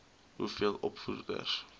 ii hoeveel opvoeders